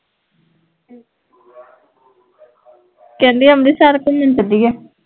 ਕਹਿੰਦੀ ਅੰਮ੍ਰਿਤਸਰ ਘੁਮਣ ਚੱਲੀਏ